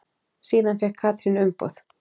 Síðan fékk Katrín umboð.